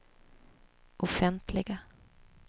offentliga